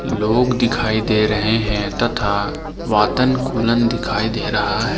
लोग दिखाई दे रहे हैं तथा वातन कूलन दिखाई दे रहा है।